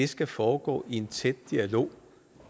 skal foregå i en tæt dialog